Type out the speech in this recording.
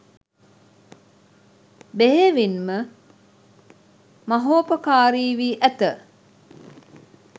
බෙහෙවින් ම මහෝපකාරී වී ඇත.